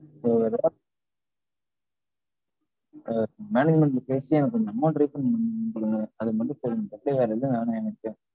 management ல பேசி எனக்கு கொஞ்சம் amount refund பண்ணிகுடுங்க. அது மட்டும் செய்யுங்க. அது தவிர வேற என்ன வேணும் எனக்கு.